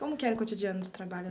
Como que era o cotidiano do trabalho?